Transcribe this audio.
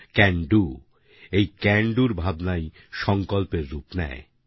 can do এই can do র ভাবনাই সংকল্পের রূপ নেয়